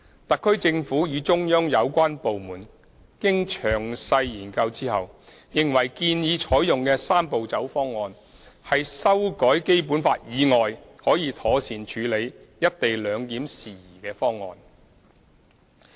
特區政府與中央有關部門經詳細研究後，認為建議採用的"三步走"方案，是修改《基本法》以外可以妥善處理"一地兩檢"事宜的方案。